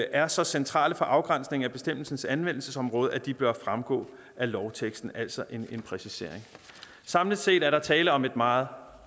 er så centrale for afgrænsningen af bestemmelsens anvendelsesområde at de bør fremgå af lovteksten altså en præcisering samlet set er der tale om et meget